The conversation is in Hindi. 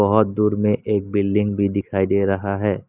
और दूर में एक बिल्डिंग भी दिखाई दे रहा है।